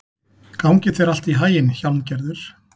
Gangi þér allt í haginn, Hjálmgerður.